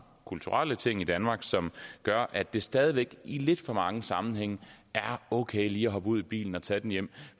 kulturelle ting i danmark som gør at det stadig væk i lidt for mange sammenhænge er okay lige at hoppe ud i bilen og tage den hjem